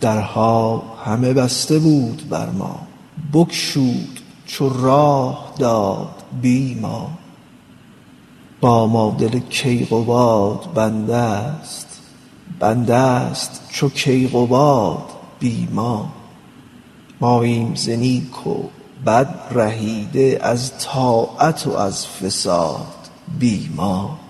درها همه بسته بود بر ما بگشود چو راه داد بی ما با ما دل کیقباد بنده ست بنده ست چو کیقباد بی ما ماییم ز نیک و بد رهیده از طاعت و از فساد بی ما